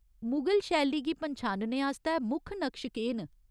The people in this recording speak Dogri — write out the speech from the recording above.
मुगल शैली गी पन्छानने आस्तै मुक्ख नकश केह् न ?